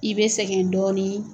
I bɛ sɛgɛn dɔɔnin